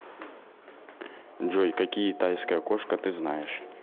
джой какие тайская кошка ты знаешь